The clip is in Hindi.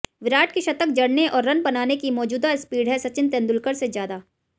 विराट की शतक जड़ने और रन बनाने की मौजूदा स्पीड है सचिन तेंदुलकर से ज्यादा